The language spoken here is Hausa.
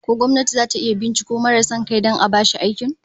Ko gwamnati zata iya binciko marai son kai don a bashi aikin?